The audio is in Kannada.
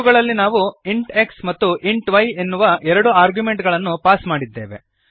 ಇವುಗಳಲ್ಲಿ ನಾವು ಇಂಟ್ x ಮತ್ತು ಇಂಟ್ y ಎನ್ನುವ ಎರಡು ಆರ್ಗ್ಯುಮೆಂಟುಗಳನ್ನು ಪಾಸ್ ಮಾಡಿದ್ದೇವೆ